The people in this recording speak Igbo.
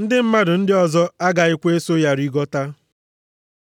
Ndị mmadụ ndị ọzọ agaghịkwa eso ya rigota.”